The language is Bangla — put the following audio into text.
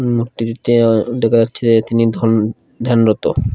উম লোকটি দেখা যাচ্ছে তিনি ধন ধ্যানরত ।